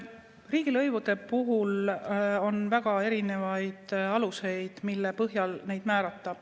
Riigilõivude puhul on väga erinevaid aluseid, mille põhjal neid määrata.